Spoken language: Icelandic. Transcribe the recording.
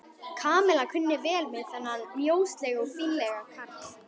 Kamilla kunni vel við þennan mjóslegna og fínlega karl.